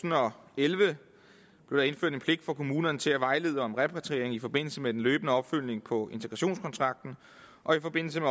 og elleve blev der indført en pligt for kommunerne til at vejlede om repatriering i forbindelse med den løbende opfølgning på integrationskontrakten og i forbindelse